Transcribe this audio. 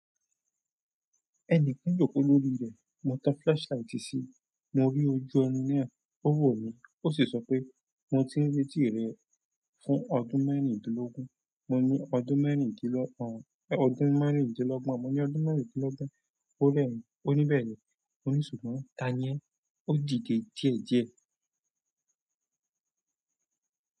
Ẹni kan jò kó lórí rẹ̀. Mo tan flashlight sí i, mo rí ojú ẹni náà. Owo mi osi sope mo ti n retí rẹ fún ọdún merindinlogun. Mo ní ọdún mẹ́rìndínlọ́gbọ̀n, mo ní. Ó ní bẹ̀ẹ̀ni, mo ní ṣùgbọ́n ta ni ẹ? Ó dide díẹ̀díẹ̀.